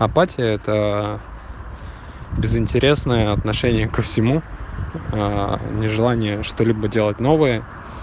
апатия это безынтересное отношение ко всему нежелание что-либо делать новое